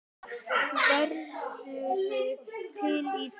Værirðu til í það?